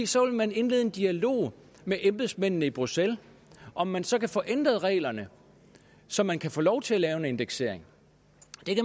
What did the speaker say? så vil man indlede en dialog med embedsmændene i bruxelles om man så kan få ændret reglerne så man kan få lov til at lave en indeksering